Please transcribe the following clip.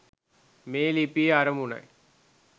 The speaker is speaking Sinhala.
මේ ලිපියේ අරමුණයි